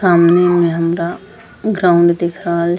सामने में हमरा ग्राउण्ड दिख रहल --